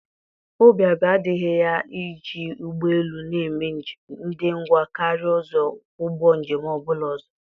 Obi abụọ adịghị ya na iji ụgbọ elu na-eme njem dị ngwa karịa ụzọ ụgbọ njem ọ bụla ọzọ.